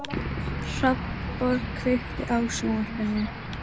Börn þurfa alltaf á foreldrum sínum að halda.